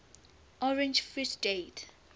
orange free state